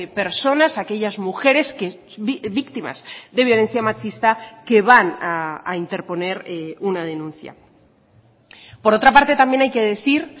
personas aquellas mujeres que víctimas de violencia machista que van a interponer una denuncia por otra parte también hay que decir